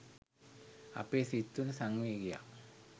අපේ සිත් තුළ සංවේගයක්